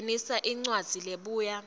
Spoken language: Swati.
ngenisa incwadzi lebuya